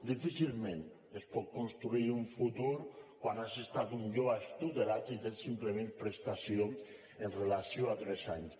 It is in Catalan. difícilment es pot construir un futur quan has estat un jove extutelat i tens simplement prestació amb relació a tres anys